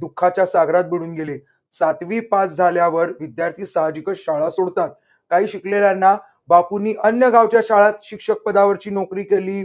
दुःखाच्या सागरात बुडून गेले. सातवी पास झाल्यावर विद्यार्थी सहाजिकच शाळा सोडतात. काही शिकलेल्यांना बापूनी अन्य गावच्या शाळत शिक्षक पदावरची नोकरी केली.